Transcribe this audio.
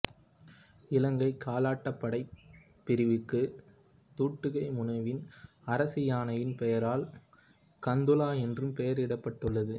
இலங்கை காலாட்படைப் படைப்பிரிவுக்கு துட்டுகைமுனுவின் அரச யானையின் பெயரால் கந்துலா என்றும் பெயரிடப்பட்டுள்ளது